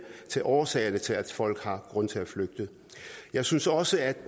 til årsagerne til at folk har grund til at flygte jeg synes også at